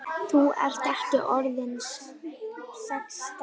Þú ert ekki orðinn sextán!